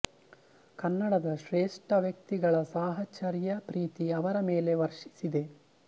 ಕನ್ನಡದ ಶ್ರೇಷ್ಠ ವ್ಯಕ್ತಿಗಳ ಸಾಹಚರ್ಯ ಪ್ರೀತಿ ಅವರ ಮೇಲೆ ವರ್ಷಿಸಿದೆ